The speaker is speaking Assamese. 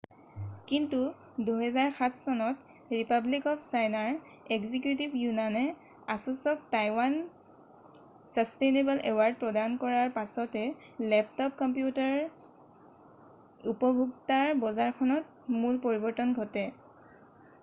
কিন্তু 2007 চনত ৰিপাব্লিক অৱ চাইনাৰ এক্সিকিউটিভ য়ুনানে asusক টাইৱান ছাছটেইনেবল এৱাৰ্ড প্ৰদান কৰাৰ পাছতে লেপটপ কম্পিউটাৰৰ উপভোক্তাৰ বজাৰখনত মূল পৰিৱৰ্তন ঘটে।